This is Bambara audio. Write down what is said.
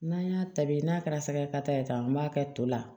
N'an y'a ta bi n'a kɛra sɛgɛ ka ta ye ka b'a kɛ to la